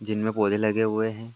जिनमें पौधे लगे हुए हैं।